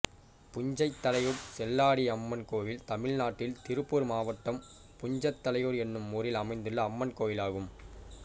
புஞ்சைத்தலையூர் செல்லாண்டியம்மன் கோயில் தமிழ்நாட்டில் திருப்பூர் மாவட்டம் புஞ்சைத்தலையூர் என்னும் ஊரில் அமைந்துள்ள அம்மன் கோயிலாகும்